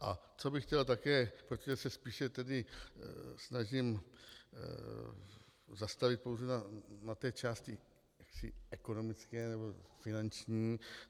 A co bych chtěl také - protože se spíše tedy snažím zastavit pouze na té části ekonomické nebo finanční.